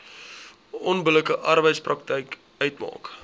onbillike arbeidspraktyk uitmaak